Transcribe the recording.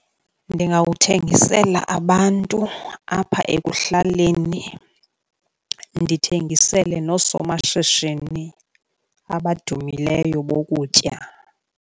Ndingawuthengisela abantu apha ekuhlaleni, ndithengisele noosomashishini abadumileyo bokutya.